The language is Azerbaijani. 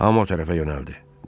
Hamı o tərəfə yönəldi.